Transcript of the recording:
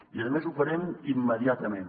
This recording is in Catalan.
i a més ho farem immediatament